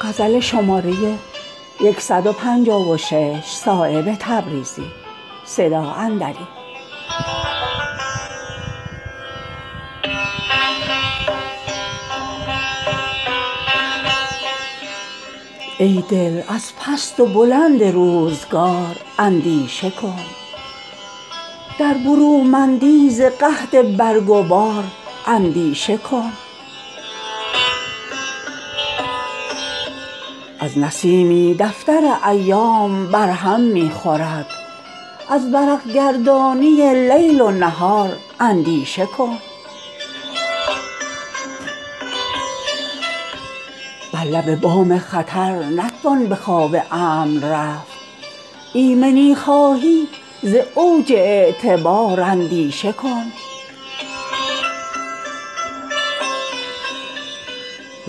ای دل از پست و بلند روزگار اندیشه کن در برومندی ز قحط برگ و بار اندیشه کن از نسیمی دفتر ایام بر هم می خورد از ورق گردانی لیل و نهار اندیشه کن بر لب بام خطر نتوان به خواب امن رفت ایمنی خواهی ز اوج اعتبار اندیشه کن نیست بی زهر پشیمانی حضور این جهان از رگ خواب فراغت همچو مار اندیشه کن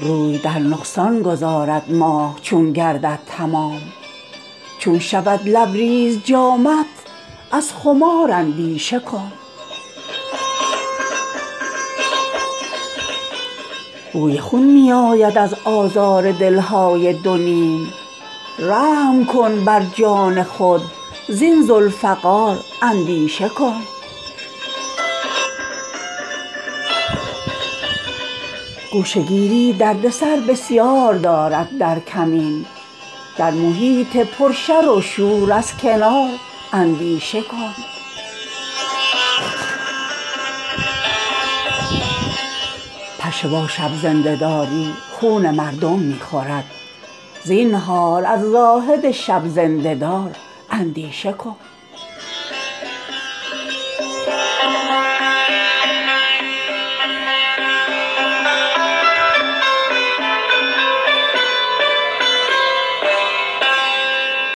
روی در نقصان گذارد ماه چون گردد تمام چون شود لبریز جامت از خمار اندیشه کن بوی خون می آید از آزار دلهای دونیم رحم کن بر جان خود زین ذوالفقار اندیشه کن گوشه گیری دردسر بسیار دارد در کمین در محیط پر شر و شور از کنار اندیشه کن زخم می باشد گران شمشیر لنگردار را زینهار از دشمنان بردبار اندیشه کن فتنه در دنبال دارد اختر دنباله دار چون برآرد خط ز خال روی یار اندیشه کن می توان از نبض پی بردن به احوال درون مرد دریا نیستی در جویبار اندیشه کن پشه با شب زنده داری خون مردم می خورد زینهار از زاهد شب زنده دار اندیشه کن چون فلک آغاز و انجامی ندارد آرزو زین محیط بی سر و بن زینهار اندیشه کن ای که می خندی چو گل در بوستان بی اختیار از گلاب گریه بی اختیار اندیشه کن این زمین و آسمان گردی و دودی بیش نیست از دخان صایب بیندیش از غبار اندیشه کن